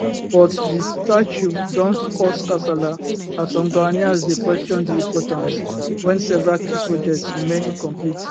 but di statue don cause kasala as some ghanaians dey question di importance wen several key projects remain incomplete